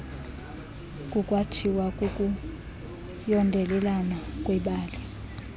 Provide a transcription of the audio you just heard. kukwathiwa kukuyondelelana kwebali